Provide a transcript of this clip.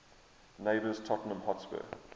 neighbours tottenham hotspur